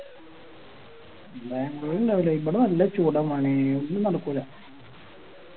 ബാംഗ്ലൂര് ഇണ്ടാവൂലെ ഇവിടെ നല്ല ചൂട മോനെ ഒന്നും നടക്കൂല